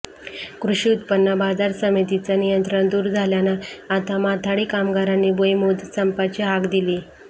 कृषी उत्रन्न बाजार समितीचं नियंत्रण दूर झाल्यानं आता माथाडी कामगारांनी बेमुदत संपाची हाक दिलीय